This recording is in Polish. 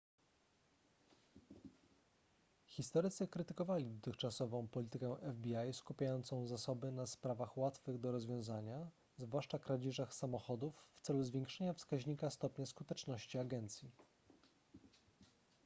historycy krytykowali dotychczasową politykę fbi skupiającą zasoby na sprawach łatwych do rozwiązania zwłaszcza kradzieżach samochodów w celu zwiększenia wskaźnika stopnia skuteczności agencji